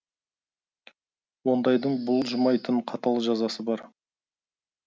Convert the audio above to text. ондайдың бұлжымайтын қатал жазасы бар